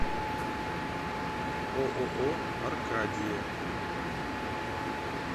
ооо аркадия